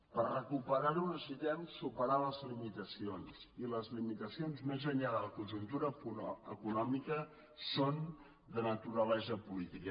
per recuperar ho necessitem superar les limitacions i les limitacions més enllà de la conjuntura econòmica són de naturalesa política